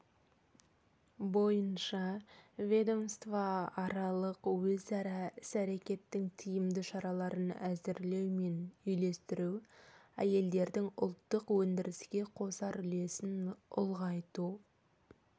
бойынша ведомствоаралық өзара іс-әрекеттің тиімді шараларын әзірлеу мен үйлестіру әйелдердің ұлттық өндіріске қосар үлесін ұлғайту